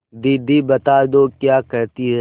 दीदी बता दो क्या कहती हैं